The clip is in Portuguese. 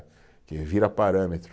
Porque vira parâmetro.